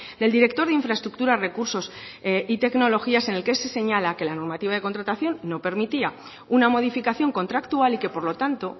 del director de infraestructuras recursos y tecnologías en el que se señala que la normativa de contratación no permitía una modificación contractual y que por lo tanto